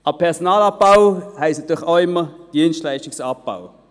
Personalabbau heisst natürlich auch immer Dienstleistungsabbau.